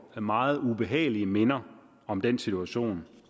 meget ubehagelige minder om den situation